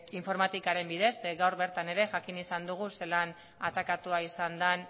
informatikaren bidez ze gaur bertan ere jakin ahal izan dugu zelan atakatua izan den